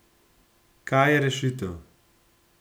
Kaj je rešitev?